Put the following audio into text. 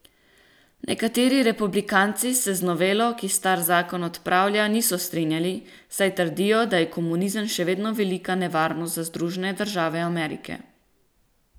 Nekateri republikanci se z novelo, ki star zakon odpravlja, niso strinjali, saj trdijo, da je komunizem še vedno velika nevarnost za Združene države Amerike.